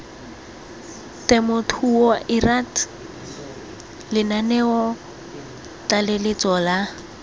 temothuo lrad lenaneo tlaleletso la